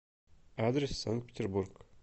адрес санкт петербург